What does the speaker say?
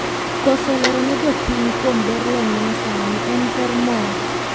Koso lerone jopiny kuom ber lony manyasani en per moro.